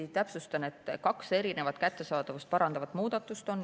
Ma täpsustan, et on kaks kättesaadavust parandavat muudatust.